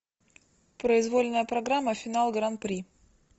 произвольная программа финал гран при